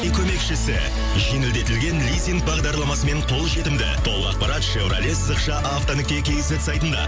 көмекішісі жеңілдетілген лизинг бағдарламасымен қолжетімді толық ақпарат шивроле сызықша авто нүкте кизет сайтында